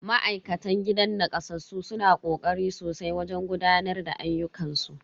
Ma'aikatan gidan nakasassu suna kokari sosai wajen gudanar da ayyukan su.